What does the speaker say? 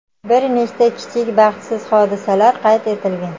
Bir nechta kichik baxtsiz hodisalar qayd etilgan.